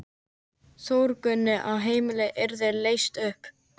Þórgunni að heimilið yrði leyst upp.